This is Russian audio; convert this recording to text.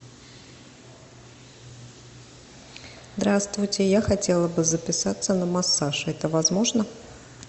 здравствуйте я хотела бы записаться на массаж это возможно